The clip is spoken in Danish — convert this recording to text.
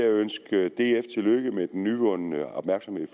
ønske df tillykke med den nyvundne opmærksomhed i